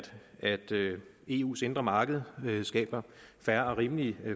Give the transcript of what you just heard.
eus indre marked skaber fair og rimelige